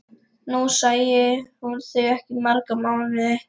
Nú sæi hún þau ekki í marga mánuði.